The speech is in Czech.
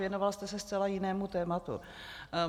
Věnoval jste se zcela jinému tématu.